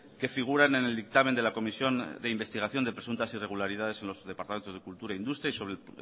que figuran en el dictamen de la comisión de investigación de presuntas irregularidades en los departamentos de cultura e industria y sobre el